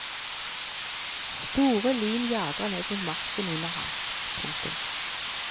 Store lyn jager ned mot marken under ham. punktum